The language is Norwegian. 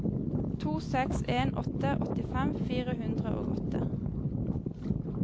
to seks en åtte åttifem fire hundre og åtte